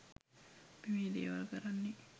අපි මේ දේවල් කරන්නේ